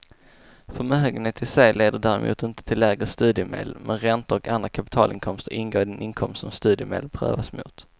Förmögenhet i sig leder däremot inte till lägre studiemedel, men räntor och andra kapitalinkomster ingår i den inkomst som studiemedel prövas mot.